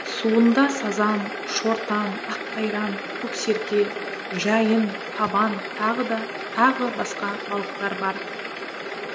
суында сазан шортан аққайран көксерке жайын табан тағы басқа балықтар бар